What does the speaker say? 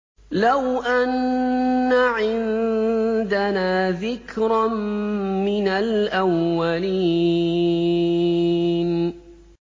لَوْ أَنَّ عِندَنَا ذِكْرًا مِّنَ الْأَوَّلِينَ